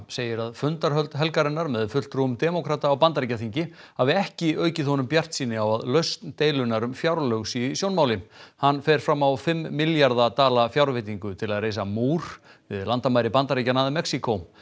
segir að fundahöld helgarinnar með fulltrúum demókrata á Bandaríkjaþingi hafi ekki aukið honum bjartsýni á að lausn deilunnar um fjárlög sé í sjónmáli hann fer fram á fimm milljarða dala fjárveitingu til að reisa múr við landamæri Bandaríkjanna að Mexíkó